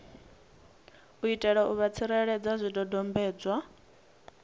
itela u vha tsireledza zwidodombedzwa